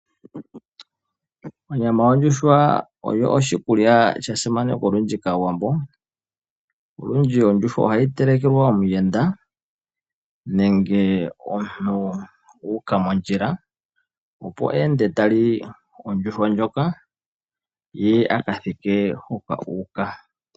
Onyama yondjuhwa oyo oshikulya sha simanekwa olundji kAawambo. Olundji ondjuhwa ohayi telekelwa omuyenda, nenge omuntu a uka mondjila, opo a ende ta li ondjuhwa ndjoka, ye aka thike hoka a uka.